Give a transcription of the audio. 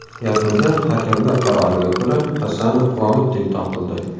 Yakunda hakamlar qaroriga ko‘ra Hasanov g‘olib deb topildi.